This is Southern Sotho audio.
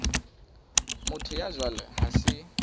motho ya jwalo ha se